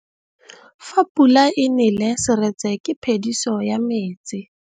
Fa pula e nelê serêtsê ke phêdisô ya metsi.